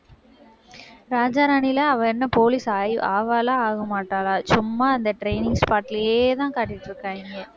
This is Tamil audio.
ராஜா ராணில, அவ என்ன police ஆயி~ ஆவாளா ஆகமாட்டாளா சும்மா அந்த training spot லயே தான் காட்டிட்டு இருக்காங்க.